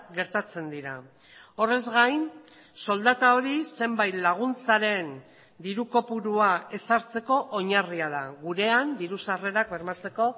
gertatzen dira horrez gain soldata hori zenbait laguntzaren diru kopurua ezartzeko oinarria da gurean diru sarrerak bermatzeko